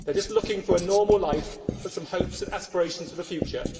They are just looking for a normal life and for some hopes and aspirations for the future.